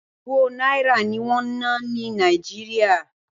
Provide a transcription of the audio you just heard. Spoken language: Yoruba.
Owó Náírà ní wọ́n ń ná ní Nàìjíríà.